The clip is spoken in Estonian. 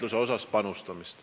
Urmas Kruuse, palun!